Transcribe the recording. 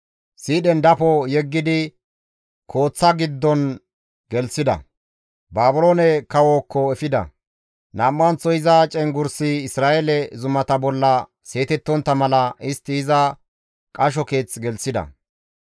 Siidhen dafo yeggidi kooththa giddon gelththida; Baabiloone kawookko efida; Nam7anththo iza cenggurssi Isra7eele zumata bolla seetettontta mala, istti iza qasho keeth gelththida.